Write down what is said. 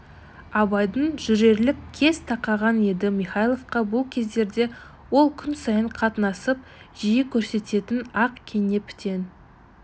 абайдың жүрерлік кез тақаған еді михайловқа бұл кездерде ол күн сайын қатынасып жиі көрсететін ақ кенептен